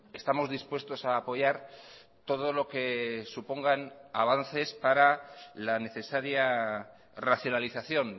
estamos dispuestos a apoyar todo lo que supongan avances para la necesaria racionalización